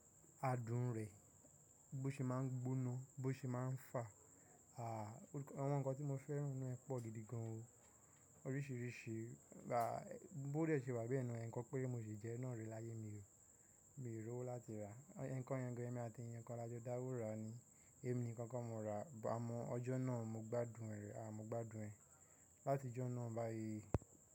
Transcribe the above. Adùn rẹ̀, bó ṣe máa ń gbóná, bó ṣe máa ń fà, àh, àwọn nǹkan tí mo fẹ́ràn nínú ẹ pọ̀ gidi gan o. Oríṣiríṣi, raá, bó dé ṣe wà bẹ́ẹ̀ nà, ẹ́ekan pére ni mo ṣi jẹ́e náà rí láyé mi, mi rí owó láti rà. Ẹnkan yẹn gan èmi àti ẹyàn kan la jo da wo raa ni èmi nìkan ko mo raa àmọ́ ọjọ́ nà mo gbádùn ẹ, ah, mo gbádùn ẹ látijọ́ náà báyìí.